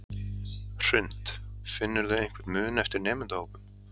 Hrund: Finnurðu einhvern mun eftir nemendahópum?